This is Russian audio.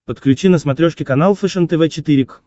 подключи на смотрешке канал фэшен тв четыре к